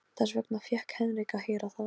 Þess vegna fékk Henrik að heyra það.